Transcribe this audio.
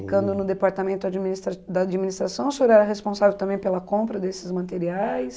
no departamento administra da administração, o senhor era responsável também pela compra desses materiais?